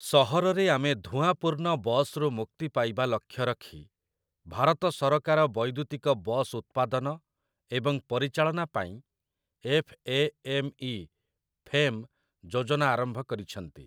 ସହରରେ ଆମେ ଧୂଆଁପୂର୍ଣ୍ଣ ବସ୍‌ରୁ ମୁକ୍ତି ପାଇବା ଲକ୍ଷ୍ୟରଖି, ଭାରତ ସରକାର ବୈଦ୍ୟୁତିକ ବସ୍‌ ଉତ୍ପାଦନ ଏବଂ ପରିଚାଳନା ପାଇଁ 'F. A. M. E.', FAME, ଯୋଜନା ଆରମ୍ଭ କରିଛନ୍ତି ।